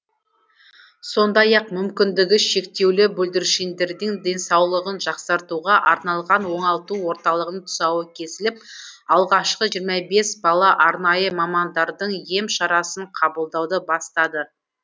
сондай ақ мүмкіндігі шектеулі бүлдіршіндердің денсаулығын жақсартуға арналған оңалту орталығының тұсауы кесіліп алғашқы жиырма бес бала арнайы мамандардың ем шарасын қабылдауды бастады